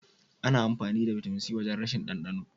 Ana amfani da bitamin C wajen rashin ɗandano.